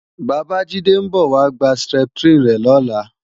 Bàbájídé ń bọ̀ wá gba Septrin rẹ̀ lọ́la